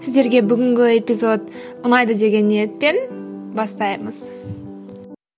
сіздерге бүгінгі эпизод ұнайды деген ниетпен бастаймыз